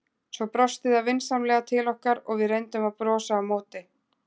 Svo brosti það vinsamlega til okkar og við reyndum að brosa á móti.